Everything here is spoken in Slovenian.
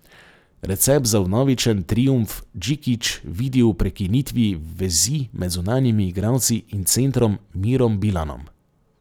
Recept za vnovičen triumf Džikić vidi v prekinitvi vezi med zunanjimi igralci in centrom Mirom Bilanom.